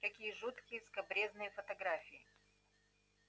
какие жуткие и скабрёзные фотографии